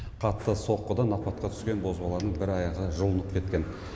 қатты соққыдан апатқа түскен бозбаланың бір аяғы жұлынып кеткен